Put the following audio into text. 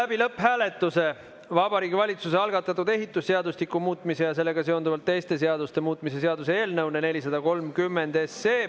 Me viime läbi Vabariigi Valitsuse algatatud ehitusseadustiku muutmise ja sellega seonduvalt teiste seaduste muutmise seaduse eelnõu 430 lõpphääletuse.